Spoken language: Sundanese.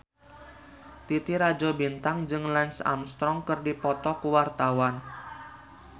Titi Rajo Bintang jeung Lance Armstrong keur dipoto ku wartawan